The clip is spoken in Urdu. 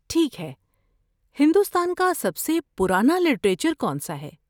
ٹھیک ہے۔ ہندوستان کا سب سے پرانا لٹریچر کون سا ہے؟